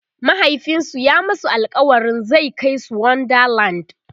mahaifinsu ya masu alkawalin zai Kai su wonder land